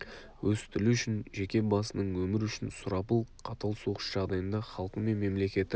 өз тілі үшін жеке басының өмірі үшін сұрапыл қатал соғыс жағдайында халқы мен мемлекеті